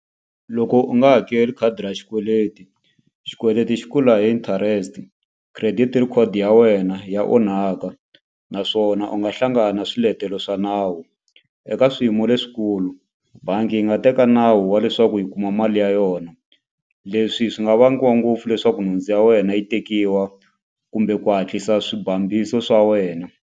Loko u nga hakeli khadi ra xikweleti xikweleti xi kula hi interest credit record ya wena ya onhaka naswona u nga hlangani na swiletelo swa nawu eka ya swiyimo leswikulu bangi yi nga teka nawu wa leswaku yi kuma mali ya yona leswi swi nga vangiwa ngopfu leswaku nhundzu ya wena yi tekiwa kumbe ku hatlisa swibambiso swa wena.